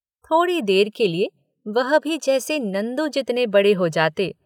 थोड़ी देर के लिए वह भी जैसे नंदू जितने बड़े हो जाते।